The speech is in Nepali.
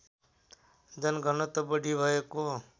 जनघनत्व बढी भएको